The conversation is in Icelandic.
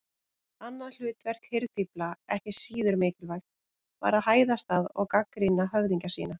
Annað hlutverk hirðfífla, ekki síður mikilvægt, var að hæðast að og gagnrýna höfðingja sína.